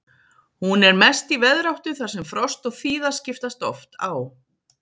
Hún er mest í veðráttu þar sem frost og þíða skiptast oft á.